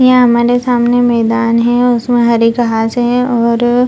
यहां हमारे सामने मैदान हैं उसमें हरी घांस है और --